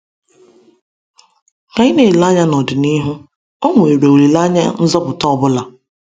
Ka anyị na-ele anya n’ọdịnihu, ọ̀ nwere olileanya nzọpụta ọ bụla?